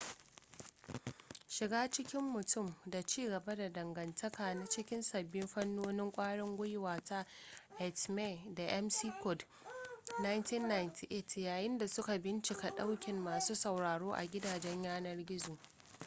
shiga cikin mutum” da ci gaba da dangantaka” na cikin sabbin fannonin kwarin gwiwa ta eighmey da mccord 1998 yayinda suka bincika daukin masu sauraro a gidajen yanar gizo